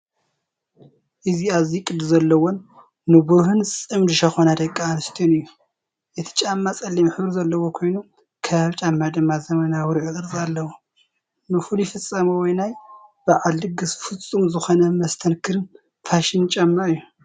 እዚ ኣዝዩ ቅዲ ዘለዎን ንብሩህን ጽምዲ ሸኾና ደቂ ኣንስትዮ እዩ! እቲ ጫማ ጸሊም ሕብሪ ዘለዎ ኮይኑ፡ ከባቢ ጫማ ድማ ዘመናዊ ርብዒ ቅርጺ ኣለዎ። ንፍሉይ ፍጻመ ወይ ናይ በዓል ድግስ ፍጹም ዝኾነ መስተንክርን ፋሽንን ጫማ እዩ፡፡